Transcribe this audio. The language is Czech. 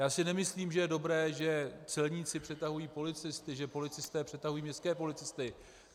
Já si nemyslím, že je dobré, že celníci přetahují policisty, že policisté přetahují městské policisty.